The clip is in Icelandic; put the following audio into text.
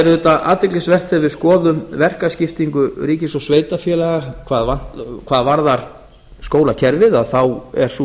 auðvitað athyglisvert ef við skoðum verkaskiptingu ríkis og sveitarfélaga hvað varðar skólakerfið að þá er sú